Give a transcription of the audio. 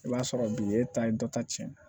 I b'a sɔrɔ bi e ta ye dɔ ta cɛn na